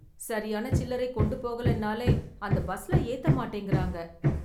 சரியான சில்லறை கொண்டு போகலைனாலே அந்த பஸ்ல ஏத்த மாட்டேங்குறாங்க.